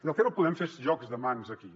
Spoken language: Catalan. el que no podem fer és jocs de mans aquí